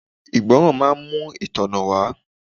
Ìgbọràn máa ń mú itona wá.